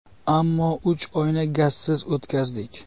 Ammo uch oyni gazsiz o‘tkazdik.